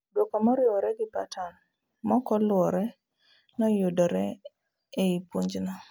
duoko moriwore gi pattern mokoluwore no yudore ei puonj no